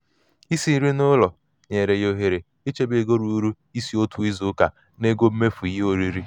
isi nri n'ụlọ nyere ya ohere ichebe ego ruru & iso otu izu ụka n'ego mmefu ihe oriri.